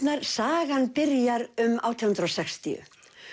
sagan byrjar um átján hundruð og sextíu